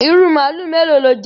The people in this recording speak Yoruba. Ìrù màlúù mélòó lo jẹ?